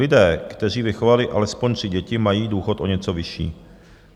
Lidé, kteří vychovali alespoň tři děti, mají důchod o něco vyšší.